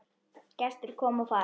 Gestir koma og fara.